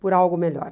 por algo melhor.